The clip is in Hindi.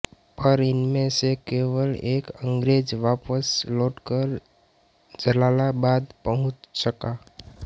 पर इनमें से केवल एक अंग्रेज़ वापस लौटकर जलालाबाद पहुँच सका